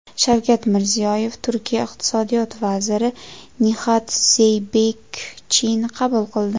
Shavkat Mirziyoyev Turkiya iqtisodiyot vaziri Nixat Zeybekchini qabul qildi.